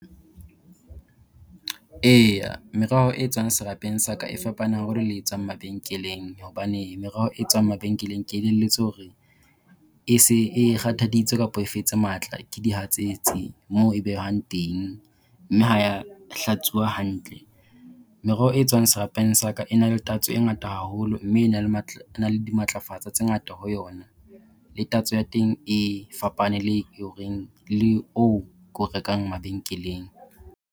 Eya meroho e tswang serapeng sa ka e fapane haholo le e tswang mabenkeleng. Hobane meroho e tswang mabenkeleng ke elellwetse hore e se e kgathaditswe kapo e fetse matla ke dihatsetsi moo e behwang teng, mme ha ya hlatsuwa hantle. Meroho e tswang serapemg sa ka e na le tatso e ngata haholo mme e na le ena le dimatlafatsa tse ngata ho yona. Le tatso ya teng e fapane le horeng le o ko rekang mabenkeleng.